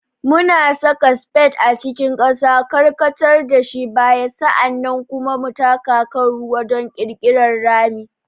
Muna saka spade a cikin ƙasa, karkatar da shi baya, sa'an nan kuma taka kan ruwa don ƙirƙirar rami.